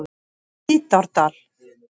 Hvítárdal